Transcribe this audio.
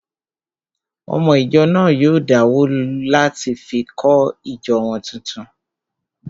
Ọmọ ìjọ náà yóò dáwó láti fi kọ́ ìjọ wọn tuntun